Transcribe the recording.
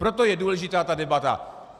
Proto je důležitá ta debata.